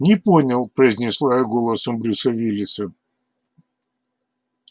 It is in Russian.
не понял произнесла я голосом брюса уиллиса